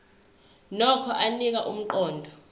nokho anika umqondo